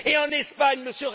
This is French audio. Et en Espagne, M.